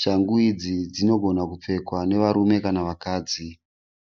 Shangu idzi dzinogona kupfekwa nevarume kana vakadzi.